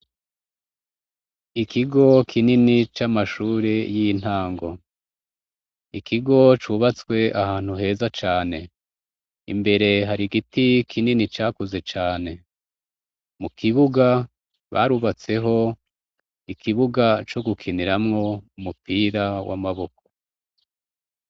Ikigo kinini c' amashure y' intango. Ikigo cubatswe ahantu neza cane. Imbere hari igiti kinini cakuze cane. Mu kibuga, barubatseho ikibuga co gukiniramwo umupira w' amaboko .